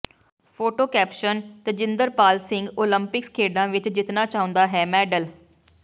photo caption Tejinderpal Singh Olympics ਖੇਡਾਂ ਵਿੱਚ ਜਿੱਤਣਾ ਚਾਹੁੰਦਾ ਹੈ ਮੈਡਲ